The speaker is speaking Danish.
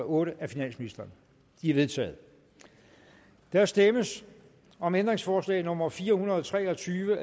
otte af finansministeren de er vedtaget der stemmes om ændringsforslag nummer fire hundrede og tre og tyve